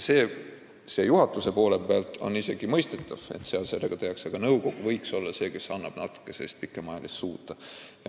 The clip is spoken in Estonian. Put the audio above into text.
See on juhatuse poole pealt isegi mõistetav, et nii tehakse, aga nõukogu võiks olla see, kes määrab natuke pikemaajalist suunda.